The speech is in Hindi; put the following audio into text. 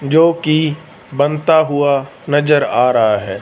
जोकि बनता हुआ नजर आ रहा है।